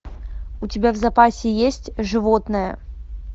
у тебя в запасе есть животное